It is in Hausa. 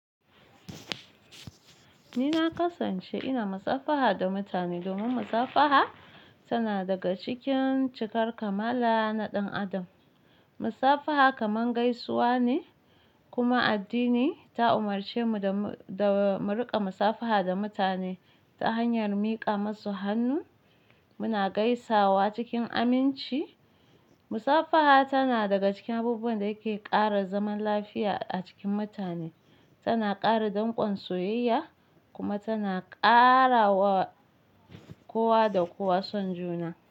Ni na kasance ina musafaha da mutane domin musafaha tana daga cikin cikar kamala na ɗan adam. Musafaha kamar gaisuwa ne kuma addini ta umarce mu da mu riƙa musafaha da mutane ta hanyar miƙa masu hannu muna gaisawa cikin aminci. Musafaha tana daga cikin abubuwan da yake ƙara zaman lafiya a cikin mutane, tana ƙara danƙon soyayya kuma tana ƙarawa kowa da kowa son juna.